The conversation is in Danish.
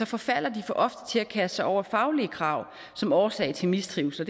forfalder de for ofte til at kaste sig over faglige krav som årsag til mistrivsel